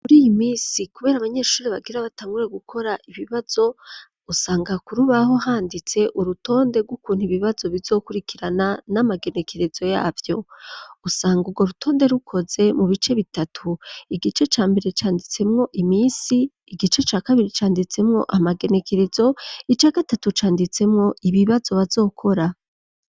Muriyi minsi kubera abanyeshuri bagire batangure gukora ibibazo, usanga kurubaho handitse urutonde ryukuntu ibibazo bizokurikirana n'amagenekerezo yavyo. Usanga ugo rutonde rukoze mu bice bitatu igice ca mbere canditsemwo imisi, igice ca kabiri canditsemwo amagenekerezo, ica gatatu canditsemwo ibibazo bazokora.